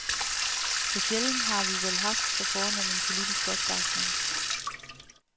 Så sjældent har vi vel haft så fornem en politisk opbakning.